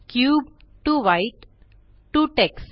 cube to white to text